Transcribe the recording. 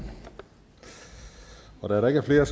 da der der ikke er flere